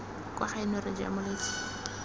kwa gaeno re ja moletlo